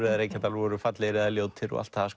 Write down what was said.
eða Reykjadalur voru fallegir eða ljótir og allt það